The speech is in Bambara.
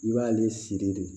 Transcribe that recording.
I b'ale siri de